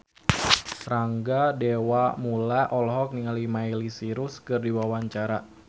Rangga Dewamoela olohok ningali Miley Cyrus keur diwawancara